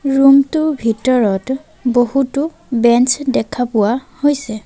Room টো ভিতৰত বহুতো বেঞ্চ দেখা পোৱা হৈছে।